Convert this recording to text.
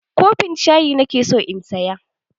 Kofin shayi nake so in saya.